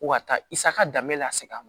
Wa taa i sa ka danbe lase a ma